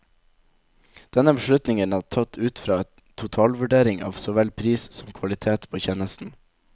Denne beslutningen er tatt ut fra en totalvurdering av såvel pris som kvalitet på tjenesten.